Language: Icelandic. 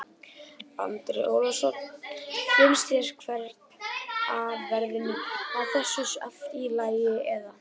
Andri Ólafsson: Finnst þér hérna verðin á þessu allt í lagi eða?